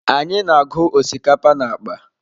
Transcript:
Anyị na-agụ osikapa na akpa.